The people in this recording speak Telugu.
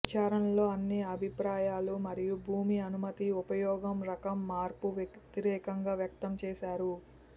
విచారణలో అన్ని అభిప్రాయాలు మరియు భూమి అనుమతి ఉపయోగం రకం మార్పు వ్యతిరేకంగా వ్యక్తం చేశారు